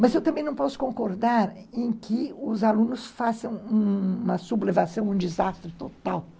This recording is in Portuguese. Mas eu também não posso concordar em que os alunos façam uma sublevação, um desastre total.